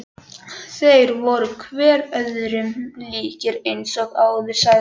Þeir voru hver öðrum líkir eins og áður sagði.